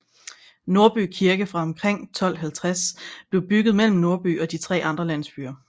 Nordby Kirke fra omkring 1250 blev bygget mellem Nordby og de tre andre landsbyer